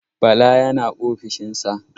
Bala yana ofishin sa.